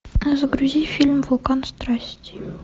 загрузи фильм вулкан страсти